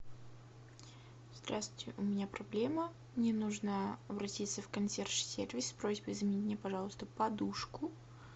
здравствуйте у меня проблема мне нужно обратиться в консьерж сервис с просьбой замени мне пожалуйста подушку